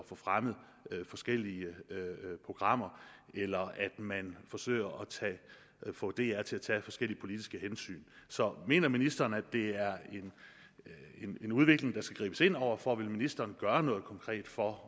få fremmet forskellige programmer eller at man forsøger at få dr til at tage forskellige politiske hensyn så mener ministeren at det er en udvikling der skal gribes ind over for vil ministeren gøre noget konkret for